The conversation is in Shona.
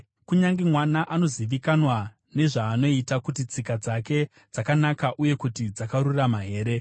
Kunyange mwana anozivikanwa nezvaanoita, kuti tsika dzake dzakanaka uye kuti dzakarurama here.